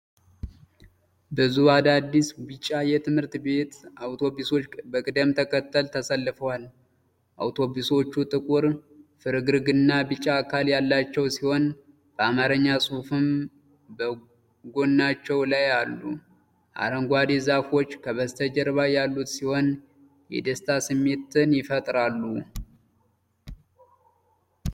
ብዙ አዳዲስ ቢጫ የትምህርት ቤት አውቶቡሶች በቅደም ተከተል ተሰልፈዋል። አውቶቡሶቹ ጥቁር ፍርግርግና ቢጫ አካል ያላቸው ሲሆን፣ በአማርኛ ጽሑፍም በጎናቸው ላይ አሉ። አረንጓዴ ዛፎች ከበስተጀርባ ያሉት ሲሆን፣ የደስታ ስሜት ይፈጥራሉ።